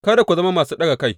Kada ku zama masu ɗaga kai.